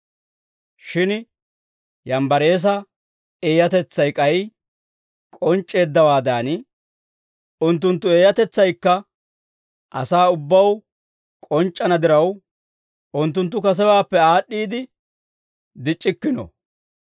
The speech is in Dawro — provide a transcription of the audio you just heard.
Shin Yaaneesa eeyatetsaynne Yambbareesa eeyatetsay k'ay k'onc'c'eeddawaadan, unttunttu eeyatetsaykka asaa ubbaw k'onc'c'ana diraw, unttunttu kasewaappe aad'd'iide dic'c'ikkino.